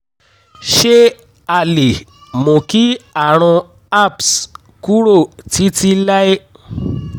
ṣé a lè mú kí àrùn herpes kúrò títí láé?